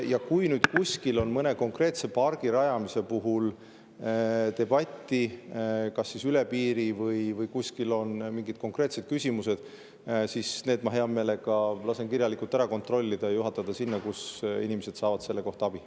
Ja kui nüüd kuskil mõne konkreetse pargi rajamise puhul on debatte, üle piiri või seal on muid küsimusi, siis neile ma hea meelega lasen kirjalikult ja juhatada need sinna, kus inimesed saavad selle kohta abi.